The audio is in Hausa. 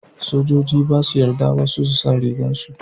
sojoji ba su yarda wasu su sa rigar su